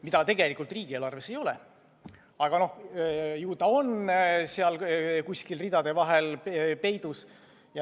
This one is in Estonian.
Seda tegelikult riigieelarves ei ole, aga ju ta on seal kuskil ridade vahel peidus.